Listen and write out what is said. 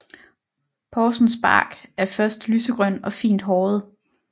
Porsens bark er først lysegrøn og fint håret